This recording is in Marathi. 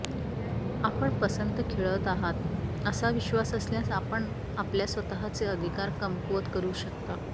आपण पसंत खेळत आहात असा विश्वास असल्यास आपण आपल्या स्वतःचे अधिकार कमकुवत करू शकता